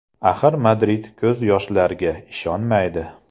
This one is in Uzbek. Axir Madrid ko‘z yoshlarga ishonmaydi.